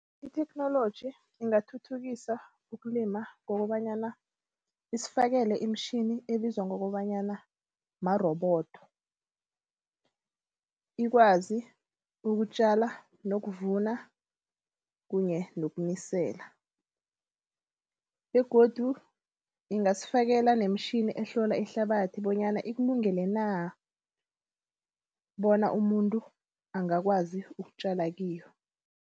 I-technology ingathuthukisa ukulima ngokobanyana isifakele imitjhini ebizwa ngokobanyana marobodo. Ikwazi ukutjala nokuvuna kunye nokunisela. Begodu ingasifakela nemitjhini ehlola ihlabathi bonyana ikulungele na bona umuntu angakwazi ukutjala kiyo.